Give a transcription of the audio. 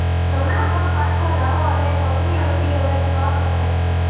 જમણા પગ પાછા લાવો અને પગની આંગળીઓને ફ્લોર પર ટેપ કરો